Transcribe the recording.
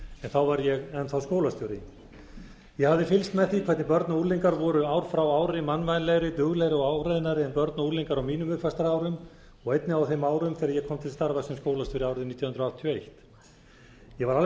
þá var ég enn þá skólastjóri ég hafði fylgst eð því hvernig börn og unglingar voru ár frá ári mannvænlegri duglegri og áræðnari en börn og unglingar á mínum uppvaxtarárum og einnig á þeim árum þegar ég kom til starfa sem skólastjóri árið nítján hundruð áttatíu og eitt ég var